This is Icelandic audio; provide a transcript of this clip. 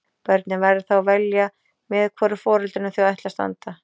Börnin verða þá að velja með hvoru foreldrinu þau ætla að standa.